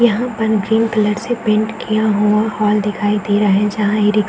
यहां पर green colour से पेंट किया हुआ हॉल दिखाई दे रहे जहां इ-रिक --